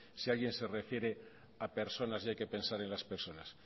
si alguien se refiere a personas y hay que pensar en las personas